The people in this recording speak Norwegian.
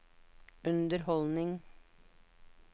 underholdning